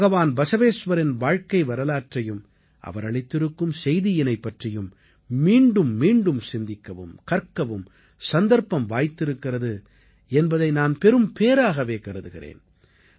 பகவான் பஸவேஸ்வரின் வாழ்க்கை வரலாற்றையும் அவர் அளித்திருக்கும் செய்தியினைப் பற்றியும் மீண்டும் மீண்டும் சிந்திக்கவும் கற்கவும் சந்தர்ப்பம் வாய்த்திருக்கிறது என்பதை நான் பெரும்பேறாகவே கருதுகிறேன்